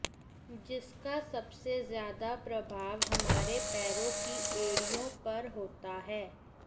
जिसका सबसे ज्यादा प्रभाव हमारे पैरों की एड़ियां पर होता है